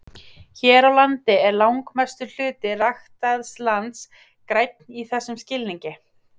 Hér á landi er langmestur hluti ræktaðs lands grænn í þessum skilningi.